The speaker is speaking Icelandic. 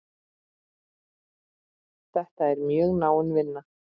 Þetta er mjög náin vinna.